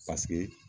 Paseke